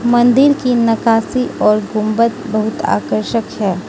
मंदिर की नकाशी और गुंबद बहुत आकर्षक है।